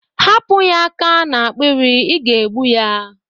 Hapụ ya aka n'akpiri, ị ga-egbu ya!